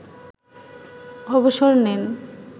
অবসর নেন